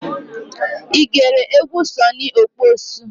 I gere egwu Sunny Okposo's?